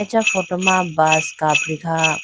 acha photo ma bus kapri khaha.